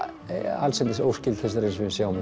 allsendis óskyld þessari sem við sjáum